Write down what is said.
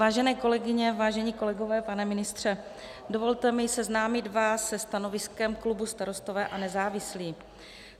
Vážené kolegyně, vážení kolegové, pane ministře, dovolte mi seznámit vás se stanoviskem klubu Starostové a nezávislí.